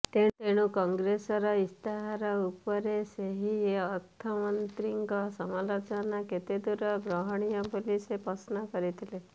ଏଣୁ କଂଗ୍ରେସର ଇସ୍ତାହାର ଉପରେ ସେହି ଅର୍ଥମନ୍ତ୍ରୀଙ୍କ ସମାଲୋଚନା କେତେଦୂର ଗ୍ରହଣୀୟ ବୋଲି ସେ ପ୍ରଶ୍ନ କରିଥିଲେ